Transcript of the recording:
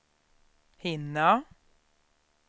hinna